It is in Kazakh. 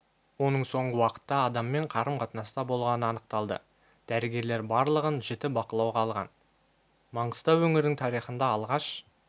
оның соңғы уақытта адаммен қарым-қатынаста болғаны анықталды дәрігерлер барлығын жіті бақылауға алған маңғыстау өңірінің тарихында алғаш